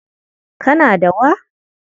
Kana da wa?